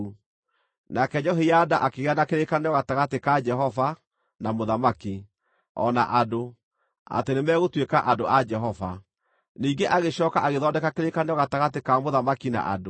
Nake Jehoiada akĩgĩa na kĩrĩkanĩro gatagatĩ ka Jehova, na mũthamaki, o na andũ, atĩ o nĩmegũtuĩka andũ a Jehova. Ningĩ agĩcooka agĩthondeka kĩrĩkanĩro gatagatĩ ka mũthamaki na andũ.